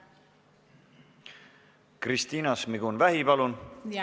Kristina Šmigun-Vähi, palun!